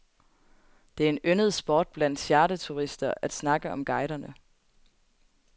Det er en yndet sport blandt charterturister at snakke om guiderne.